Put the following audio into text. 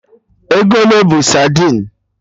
Ego ole bụ sadin?